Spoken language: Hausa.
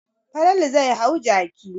Falalu zai hau jaki.